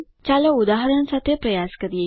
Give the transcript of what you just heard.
ચાલો ઉદાહરણ સાથે પ્રયાસ કરીએ